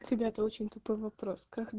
ребята очень тупой вопрос как